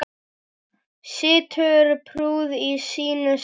Situr prúð í sínu sæti.